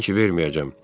Bilirsən ki, verməyəcəm.